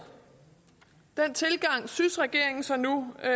den tilgang synes regeringen så nu at